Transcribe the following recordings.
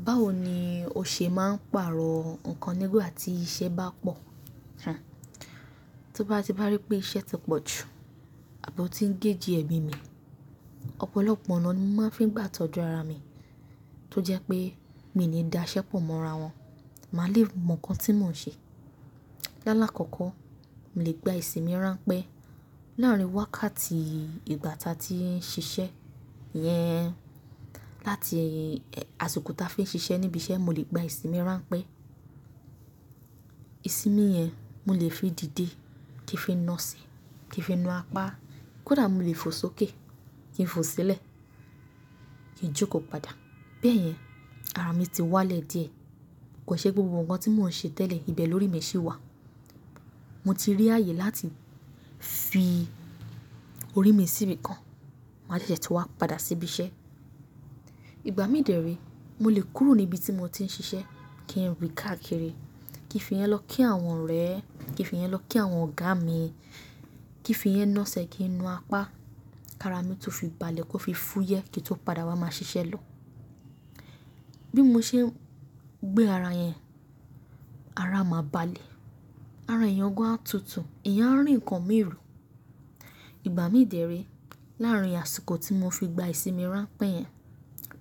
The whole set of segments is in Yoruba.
Báwo ni o ṣe máa ń pàrọ̀ nǹkan nígbà tí iṣẹ́ bá pọ̀? Tí bá ti bá rí pé iṣẹ́ ti pọ̀ jù àbí ó ti ń géèji ẹ̀mi mi, ọ̀pọ̀lọpọ̀ ọ̀nà ni mo máa ń fi gbà tọ́jú ara mi tó jẹ́ pé mi ò ní dá iṣẹ́ pọ̀ mọ́ ara wọn. Màá lè mọ nǹkan tí mò ń ṣe. Lálá kọ̀ọ̀kọ, mo lè gba ìsinmi ránpẹ́ láàrin wákàtí ìgbà táa tí ń ṣiṣẹ́ yẹn. Láti àsìkò táa fi ń ṣiṣẹ́ níbi iṣẹ́, mo lè gba ìsinmi ránpẹ́. Ìsinmi yẹn mo lè fi dìde kí n fi na ọ̀sẹ̀, kí n fi na apá, kódà mo lè fò sókè kí n fò sílẹ̀ kí n jókòó padà. Bẹ́ẹ̀ yẹn ara mi ti wá lẹ̀ díẹ̀. Kò ṣe gbogbo nǹkan tí mò ń ṣe tẹ́lẹ̀, ibẹ̀ lórí mi ṣì wà. Mo ti rí ààyè láti fi orí mi síbi kan, màá jẹ́jẹ́ tí wa padà sí ibi iṣẹ́. Ìgbà mí dẹ̀ree, mo lè kúrò ní ibi tí mo ti ń ṣiṣẹ́ kí n rìn káàkiri, kí n fi yẹn lọ kí àwọn ọ̀rẹ́, kí n fi yẹn lọ kí àwọn ọ̀gá mi, kí n fi ẹ ná ẹsẹ̀ kí n na apá, kí ara mi tún fi balẹ̀ kó fi fúyẹ́ kí n tó padà wá máa ṣiṣẹ́ lọ. Bí mo ṣe ń gbé ara yẹn, ara máa balẹ̀, ara èèyàn gan-an túntùn, èèyàn á rí nǹkan mìí rò. Ìgbà mí dẹ̀ré, láàrin àsìkò tí mo fi gba ìsinmi ránpẹ́ yẹn,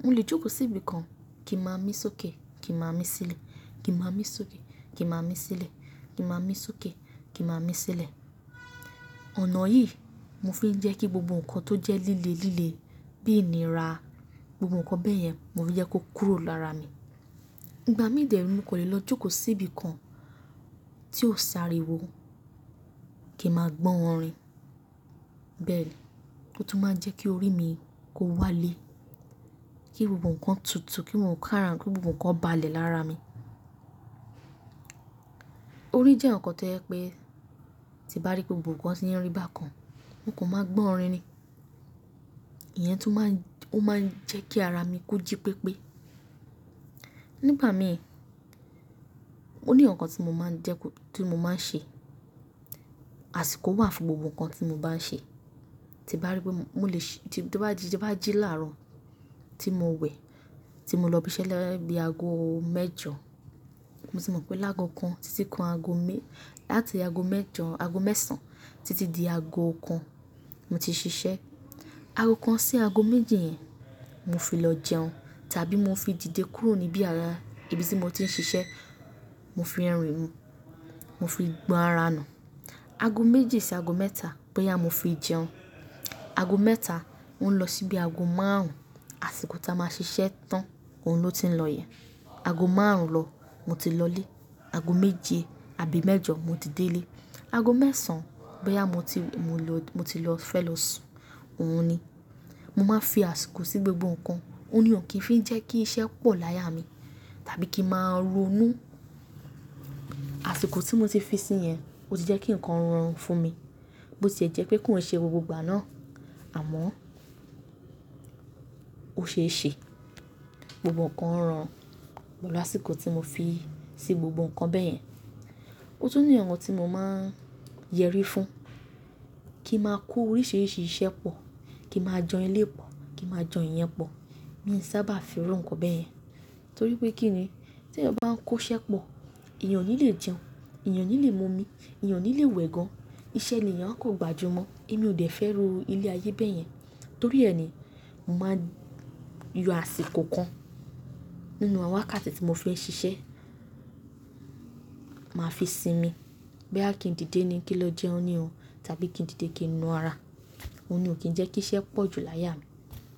mo lè jókòó sí ibi kan kí n máa mí sókè, kí n máa mí sílẹ̀, kí n máa mí sókè, kí n máa mí sílẹ̀, kí n máa mí sókè, kí n máa mí sílẹ̀. Ọ̀nà yìí mo fi ń jẹ́ kí gbogbo nǹkan tó jẹ́ líle líle bí ìní ra, gbogbo nǹkan bẹ́ yẹn mo fi jẹ́ kó kúrò lára mi. Ìgbà mí dẹ̀ré mo kan lè lọ jókòó sí ibi kan tí ó si ariwo kí n máa gbọ́ orin. Bẹ́ẹ̀ ni ó tún máa ń jẹ́ kí orí mi kó wá lé, kí gbogbo nǹkan tutù, kí ǹ kan ràn, kí gbogbo nǹkan balẹ̀ lára mi. Orí jẹ́ nǹkan tó jẹ́ pé tí mo bá rí pé gbogbo nǹkan ti ń rí bákan, mo kan máa gbọ́ orin ni. Ìyẹn tún máa ń, ó máa ń jẹ́ kí ara mi kó jí pépé. Nígbà mìíràn, ó ní nǹkan tí mo máa ń dẹ́ kó, tí mo máa ń ṣe. Àsìkò wà fún gbogbo nǹkan tí mo bá ń ṣe. Tí n bá rí pé mo lè ṣ-- tí bá jí láàárọ̀ tí mo wẹ̀, tí mo lọ ibi iṣẹ́ ni bi aago mẹ́jọ, mo sì mọ̀ pé lágo kan títí kan aago mé-- láti aago mẹ́jọ, aago mẹ́sàn-án títí di aago kan mo ti ṣiṣẹ́. Aago kan sí aago méjì yẹn, mo fi lọ jẹun tàbí mo fi dìde kúrò níbí ara ibi tí mo ti ń ṣiṣẹ́, mo fi rìn, mo fi gbọ́n ara nù. Aago méjì sí aago mẹ́ta, bóyá mo fi jẹun. Aago mẹ́ta ń lọ síbi aago márùn-ún, àsìkò táa máa ṣiṣẹ́ tán òun ló ti ń lọ yẹn. Aago márùn-ún lọ, mo ti lọlé. Aago méje àbí mẹ́jọ mo ti délé. Aago mẹ́sàn-án, boyó mo ti, mo ti lọ fẹ́ lọ sùn, òun ni. Mo máa ń fi àsìkò sí gbogbo nǹkan. Ó ní òń kí ń fi jẹ́ kí iṣẹ́ pọ̀ láyá mi tàbí kí màá ronú. Àsìkò tí mo ti fi sín mi yẹn ó ti jẹ́ kí nǹkan rọrùn fún mi. Bó ti ẹ jẹ́ pé ko on ṣe gbogbo ìgbà náà, àmọ́ ó ṣe é ṣe. Gbogbo nǹkan rọrùn pẹ̀lú àsìkò tí mo fi sí gbogbo nǹkan bẹ́ẹ̀ yẹn. Ó tún ní nǹkan tí mo máa ń yẹrí fún. Kí màá kó oríṣìíríṣìí iṣẹ́ pọ̀, kí màá jan eléyìí pọ̀, kí màá jan ìyẹn pọ̀. Mi ò sábà fẹ́ràn nǹkan bẹ́ẹ̀ yẹn. Torí pé kíni tí eyàn bá ń kó iṣẹ́ pọ̀, èèyàn ò ní lè jẹun, èèyàn ò ní lè mu omi, èèyàn ò ní lè wẹ gan. Ìṣẹ́ ni èèyàn á kán gbà jù mọ́. Èmi ò dẹ̀ fẹ́ irú ilé ayé bẹ́ yẹn. Torí ẹni, mo màá n yọ àsìkò kan nínú àwọn wákàtí tí mo fí ń ṣiṣẹ́, màá fi sinmi. Bóyá kí n dìde ni kí n lọ jẹun ní o tàbí kí n dìde kí n na ara. Óun ní ò kí ń jẹ́ kí iṣẹ́ pọ̀ jù láyá mi.